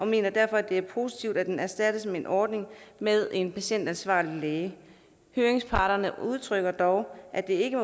mener derfor at det er positivt at den erstattes med en ordning med en patientansvarlig læge høringsparterne udtrykker dog at det ikke